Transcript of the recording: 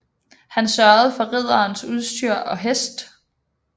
Han sørgede for ridderens udstyr og hest